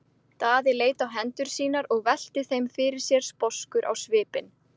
Daði leit á hendur sínar og velti þeim fyrir sér sposkur á svipinn.